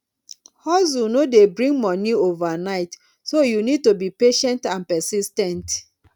hustle no dey bring monie overnight so you need to be patient and persis ten t